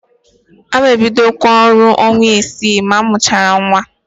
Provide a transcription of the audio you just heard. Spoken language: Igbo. Aga m ebidokwa ọrụ ọnwa isii m mụchara nnwa.